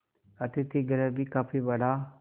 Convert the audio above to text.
अतिथिगृह भी काफी बड़ा